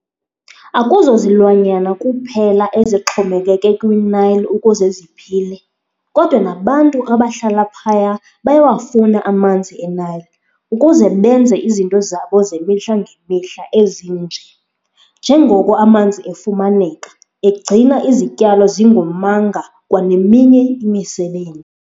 Akuzozilwanyana kuphela ezixhomekeke kwiNile ukuze ziphile, kodwa nabantu abahlala phaya bayawafuna amanzi eNile ukuze benze izinto zabo zemihla ngemihla ezinje, njengoko amanzi efumaneka, egcina izityalo zingomanga kwaneminye imisebe.